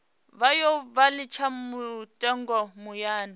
vhuya vha litsha lutingo muyani